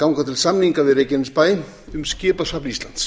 ganga til samninga við reykjanesbæ um skipasafn íslands